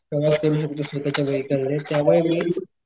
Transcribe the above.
प्रवास करू शकतो दुसरीकडच्या वेहिकल ने त्यामुळे मी,